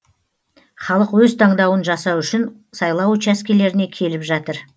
халық өз таңдауын жасау үшін сайлау учаскелеріне келіп жатыр